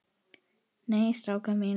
Nei, strákar mínir.